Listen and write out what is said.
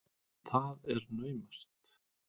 Það er naumast!